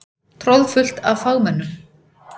Troðfullt af fagmönnum.